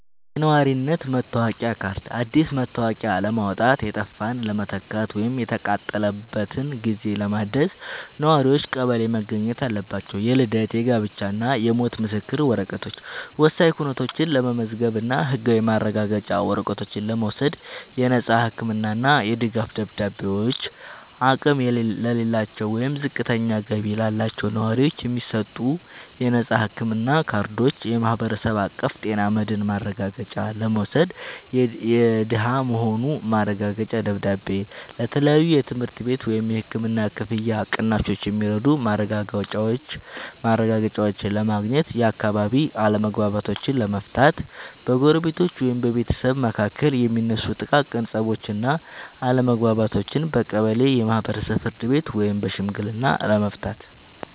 የነዋሪነት መታወቂያ ካርድ፦ አዲስ መታወቂያ ለማውጣት፣ የጠፋን ለመተካት ወይም የተቃጠለበትን ጊዜ ለማደስ ነዋሪዎች ቀበሌ መገኘት አለባቸው። የልደት፣ የጋብቻ እና የሞት ምስክር ወረቀቶች፦ ወሳኝ ኩነቶችን ለመመዝገብ እና ህጋዊ ማረጋገጫ ወረቀቶችን ለመውሰድ። የነፃ ህክምና እና የድጋፍ ደብዳቤዎች፦ አቅም ለሌላቸው ወይም ዝቅተኛ ገቢ ላላቸው ነዋሪዎች የሚሰጡ የነፃ ህክምና ካርዶችን (የማህበረሰብ አቀፍ ጤና መድህን ማረጋገጫ) ለመውሰድ። የደሃ መሆኑ ማረጋገጫ ደብዳቤ፦ ለተለያዩ የትምህርት ቤት ወይም የህክምና ክፍያ ቅናሾች የሚረዱ ማረጋገጫዎችን ለማግኘት። የአካባቢ አለመግባባቶችን ለመፍታት፦ በጎረቤቶች ወይም በቤተሰብ መካከል የሚነሱ ጥቃቅን ፀቦችን እና አለመግባባቶችን በቀበሌ የማህበራዊ ፍርድ ቤት ወይም በሽምግልና ለመፍታት።